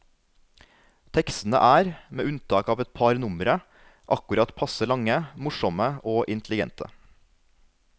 Tekstene er, med unntak av et par numre, akkurat passe lange, morsomme og intelligente.